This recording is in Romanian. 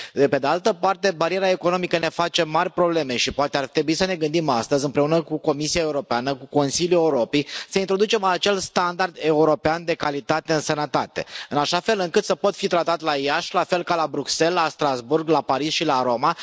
Pe pe de altă parte, bariera economică ne face mari probleme și poate ar trebui să ne gândim astăzi, împreună cu Comisia Europeană, cu Consiliul Europei, să introducem acel standard european de calitate în sănătate în așa fel încât să pot fi tratat la Iași la fel ca la Bruxelles, la Strasbourg, la Paris și la Roma.